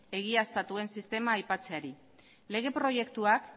egiaztatuen sistema aipatzeari lege proiektuak